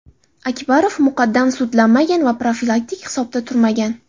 Akbarov muqaddam sudlanmagan va profilaktik hisobda turmagan.